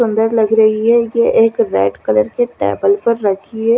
सुन्दर लग रही है ये एक रेड कलर कि टेबल पर रखी है।